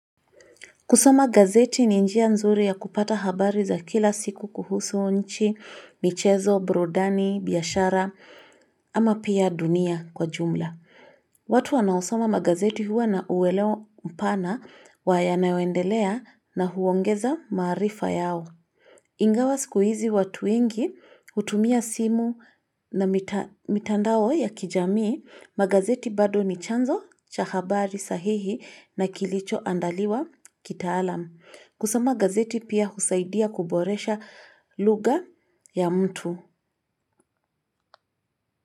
Kusoma gazeti ni njia nzuri ya kupata habari za kila siku kuhusu nchi, michezo, burudani, biashara ama pia dunia kwa jumla. Watu wanaosama magazeti huwa na uwelewa mpana wa ya naewendelea na huongeza maarifa yao. Ingawa sikuizi watu wengi, hutumia simu na mitandao ya kijamii, magazeti bado ni chanzo cha habari sahihi na kilicho andaliwa kitaalamu. Kusoma magazeti pia husaidia kuboresha lugha ya mtu.